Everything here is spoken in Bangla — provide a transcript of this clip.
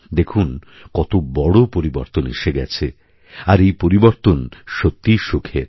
দেখুন কত বড় পরিবর্তন এসে গেছে আর এই পরিবর্তন সত্যিই সুখের